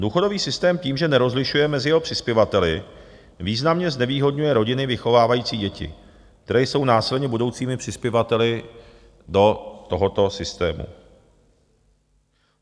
Důchodový systém tím, že nerozlišuje mezi jeho přispěvateli, významně znevýhodňuje rodiny vychovávající děti, které jsou následně budoucími přispěvateli do tohoto systému.